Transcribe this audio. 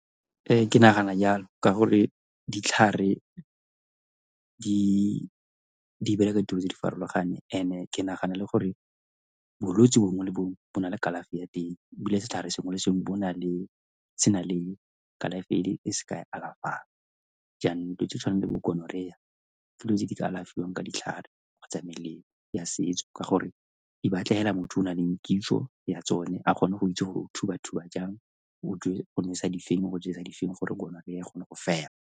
Ke nagana yalo ka gore ditlhare di bereka dilo tse di farologaneng, and-e ke nagana le gore bolwetsi bongwe le bongwe bo na le kalafi ya teng ebile setlhare sengwe le sengwe se na le kalafi e se ka e alafang, jaanong tse di tshwana le bo gonorrhea ke dilo tse di ka alafiwang ka ditlhare kgotsa melemo ya setso ka gore de batla hela motho yo o na leng kitso ya tsone a kgone go itse gore thuba-thuba jang, o tlo go nosa di feng o ba jesa di feng gore gonorrhea e kgone go fela.